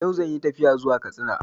Yau zan yi tafiya zuwa Katsina